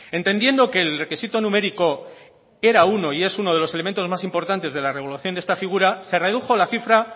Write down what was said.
entendiendo que el requisito numérico era uno y es uno de los elementos más importantes de la regulación de esta figura se redujo la cifra